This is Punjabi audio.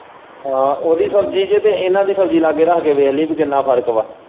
ਆਹੋ ਉਹਦੀ ਸ਼ਬਜੀ ਚ ਤੇ ਇਹਨਾਂ ਦੀ ਸ਼ਬਜੀ ਲਾਂਗੇ ਰੱਖ ਕੇ ਵੇਖ ਲਈ ਕਿ ਕਿੰਨਾ ਫ਼ਰਕ ਵਾਂ।